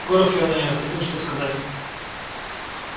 горов явно не находил что сказать